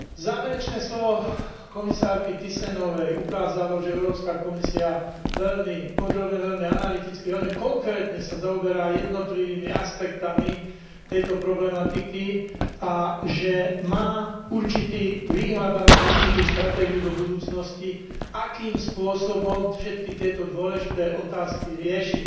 Záverečné slovo komisárky Tisenovej ukázalo, že Európska komisia podrobne, veľmi analyticky, veľmi konkrétne sa zaoberá jednotlivými aspektmi tejto problematiky a že má určitý výhľad alebo určitú stratégiu do budúcnosti, akým spôsobom všetky tieto dôležité otázky rieši.